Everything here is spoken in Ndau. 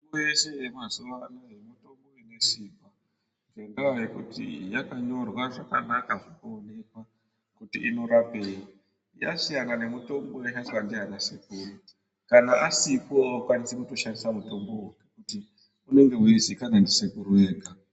Mitombo yese yemazuwa anaa mitombo inesimba ngendaa yekuti yakanyorwa zvakanaka zvinoonekwa kuti inorapei. Yasiyana nemitombo yaishandiswa ndiana sekuru. Kana asipo aukwanisi kutoshandisa mutombowo ngekuti unenge weizikanwa ndisekuru vega.